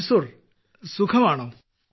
മൻസൂർ സുഖമാണോ